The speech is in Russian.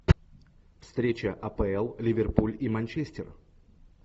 встреча апл ливерпуль и манчестер